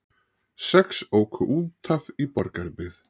Sex óku út af í Borgarbyggð